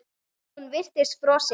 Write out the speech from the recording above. Hún virtist frosin.